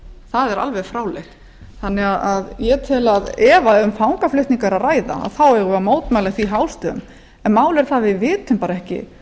það er alveg fráleitt þannig að ég tel að ef um fangaflutninga er að ræða eigum við að mótmæla því hástöfum en málið er það að við vitum bara ekki